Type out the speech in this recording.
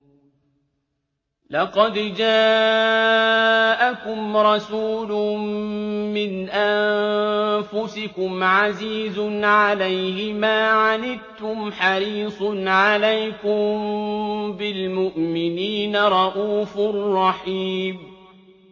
لَقَدْ جَاءَكُمْ رَسُولٌ مِّنْ أَنفُسِكُمْ عَزِيزٌ عَلَيْهِ مَا عَنِتُّمْ حَرِيصٌ عَلَيْكُم بِالْمُؤْمِنِينَ رَءُوفٌ رَّحِيمٌ